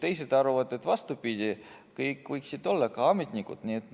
Teised arvavad vastupidi, et kõik võiksid olla, ka ametnikud.